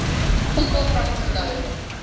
people from cologne